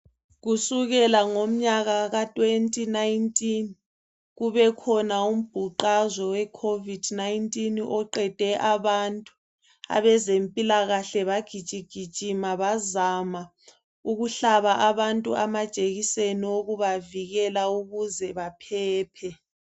Kusukela ngomnyaka ka2019 kubekhona umbhuqazwe weCovid 19 oqede abantu. Abezempilakahle bagijigijima bazama ukuhlaba abantu amajekiseni okubavikela ukuze baphephe.